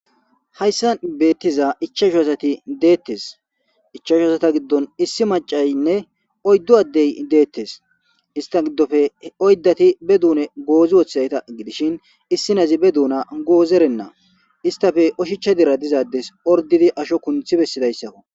Hayssan beeththiza ichchasho asathi deeththes; ichashu asatha giddon issi macaynne oyddu addey deeththes; isththa giddope oyddathi be doone goozi wothaytha gidishin issi nazi be doona goozerenna; isthape oshicha dira diza addes orddidi asho kunththi bessidayssakko.